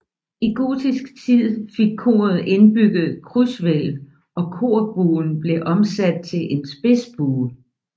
I gotisk tid fik koret indbygget krydshvælv og korbuen blev omsat til en spidsbue